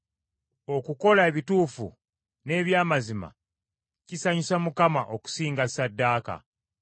Okukola ebituufu n’eby’amazima kisanyusa Mukama okusinga ssaddaaka.